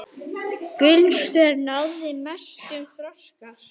Gauti hóf störf í gær.